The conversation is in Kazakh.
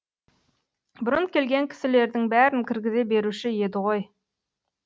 бұрын келген кісілердің бәрін кіргізе беруші еді ғой